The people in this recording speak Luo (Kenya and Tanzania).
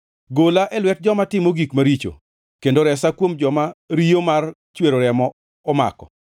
Gola e lwet joma timo gik maricho kendo resa kuom joma riyo mar chwero remo omako.